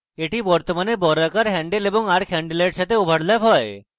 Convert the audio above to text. এটি বর্তমানে বৃত্তের বর্গাকার হ্যান্ডেল এবং arc handles সাথে overlap হয়